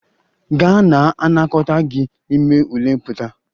Gaa na-anakọta gị ime ule pụta!